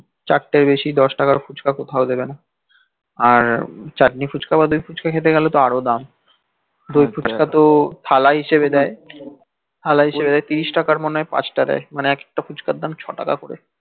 চারটের বেশি দস টাকার ফুচকা তো কোথায় দিবে না আর চাতনি ফুচকা বা দই ফুচকা খেতে গেলে তো আরও দাম দই ফুচকা তো থালা হিসেবে দেই থালা হিসেবে তিরিশ তাকাই মনে হই পাচ টা দেই মানে একেক্তা ফুচকার দাম ছ টাকা করে